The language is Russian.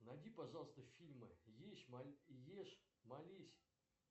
найди пожалуйста фильмы ешь молись